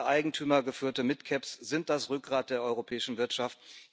Gerade eigentümergeführte Mid Caps sind das Rückgrat der europäischen Wirtschaft.